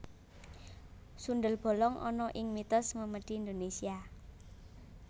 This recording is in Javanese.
Sundel bolong ana ing mitos memedi Indonesia